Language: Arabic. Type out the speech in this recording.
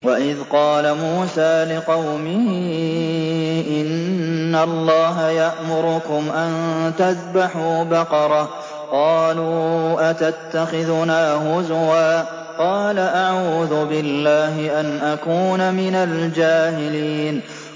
وَإِذْ قَالَ مُوسَىٰ لِقَوْمِهِ إِنَّ اللَّهَ يَأْمُرُكُمْ أَن تَذْبَحُوا بَقَرَةً ۖ قَالُوا أَتَتَّخِذُنَا هُزُوًا ۖ قَالَ أَعُوذُ بِاللَّهِ أَنْ أَكُونَ مِنَ الْجَاهِلِينَ